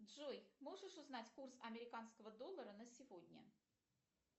джой можешь узнать курс американского доллара на сегодня